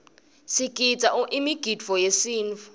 sigidza imigidvo yesintfu